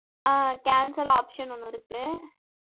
ஆஹ் cancel option ஒண்ணு இருக்கு